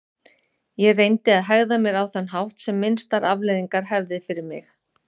Ég reyndi að hegða mér á þann hátt sem minnstar afleiðingar hefði fyrir mig.